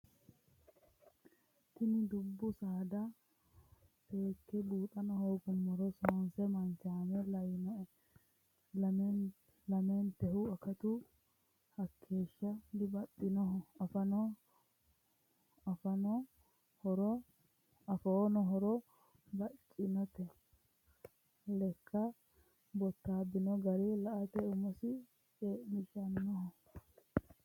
Tini dubbu saadati seekke buuxano hooguummoro sonise manchame lawinoe lamentehu akatu hakeeshsha dibaxinoho afoono horo bacinote lekka bottabino gari la"ate umosi ce'mishanoho.